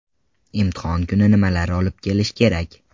Imtihon kuni nimalarni olib kelish kerak?